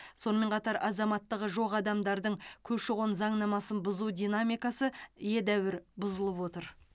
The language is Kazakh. сонымен қатар азаматтығы жоқ адамдардың көші қон заңнамасын бұзу динамикасы едәуір бұзылып отыр